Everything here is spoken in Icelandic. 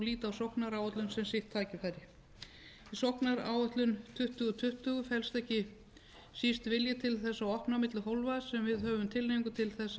líti á sóknaráætlun sem sitt tækifæri í sóknaráætlun tuttugu tuttugu felst ekki síst vilji til þess að opna á milli hólfa sem við höfum tilhneigingu til